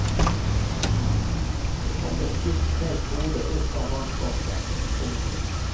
Så kom det et stygt fælt hode opp over vannskorpen. punktum